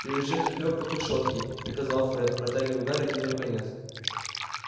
привяжи эту верёвку к решётке приказал фред протягивая гарри один её конец